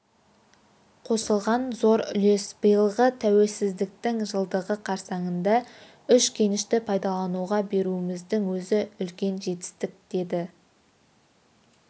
қосылған зор үлес биылғы тәуелсіздіктің жылдығы қарсаңында үш кенішті пайдалануға беруіміздің өзі үлкен жетістік деді